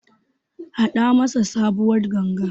Haɗa masa sabuwar Ganga.